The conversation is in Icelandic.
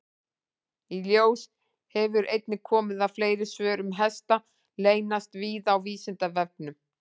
Í ljós hefur einnig komið að fleiri svör um hesta leynast víða á Vísindavefnum.